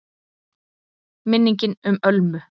MINNINGIN UM ÖLMU